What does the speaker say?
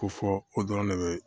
Ko fɔ o dɔrɔn de be